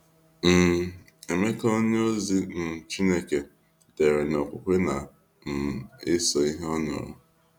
um Emeka, onyeozi um chineke dere na okwukwe na um eso ihe ọ nụrụ.